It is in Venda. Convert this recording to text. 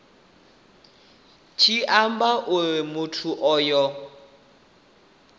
tshi amba uri muthu onoyo